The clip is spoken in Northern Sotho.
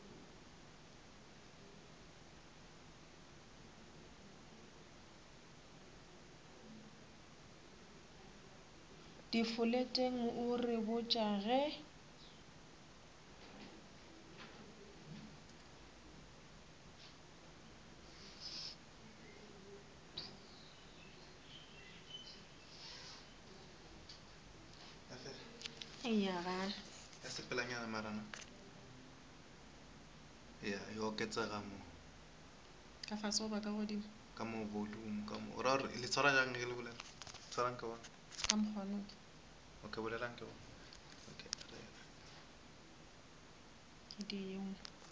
difoleteng o re botša ge